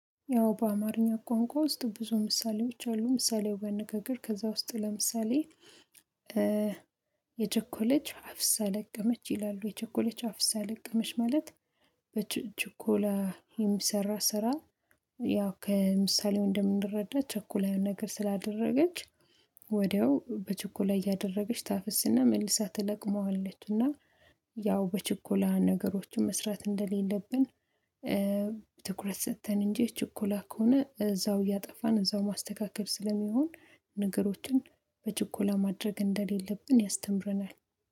ያው በአማርኛ ቋንቋ ውስጥ ብዙ ምሳሌዎች አሉ ምሳሌው አነጋገር ከዛ ውስጥ ለምሳሌ የቸኮለች አፍሳ ለቀመች ይላሉ የቸኮለች አፍሳ ለቀመች ማለት በችኮላ የሚሰራ ስራ። ያው ከምሳሌው እንደምንረዳ ቸኩላ ያን ነገር ስላደረገች ወዲያው በችኮላ እያደረገች ታፍስና መልሳ ትለቅመዋለችና ያው በችኮላ ነገሮችን መስራት እንደሌለብን። ትኩረት ሰጥተን እንጂ ችኮላ ከሆነ እዛው እያጠፋን እዛው ማስተካከል ስለሚሆን ነገሮችን በችኮላ ማድረግ እንደሌለብን ያስተምረናል።